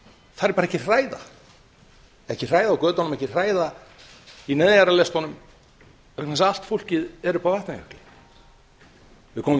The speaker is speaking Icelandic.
þar er bara ekki hræða á götunum ekki hræða í neðanjarðarlestunum vegna þess að allt fólkið er uppi á vatnajökli við komum